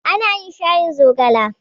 Ana yin shayin zogale.